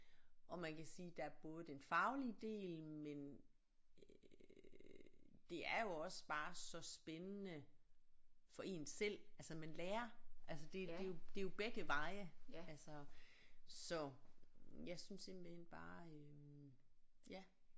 Og man kan sige der er både den faglige del men øh det er jo også bare så spændende for en selv altså man lærer altså det det jo det jo begge veje altså så jeg synes simpelthen bare øh ja